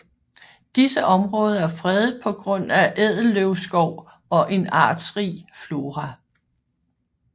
Disse områder er fredet på grund af ædelløvskov og en artsrig flora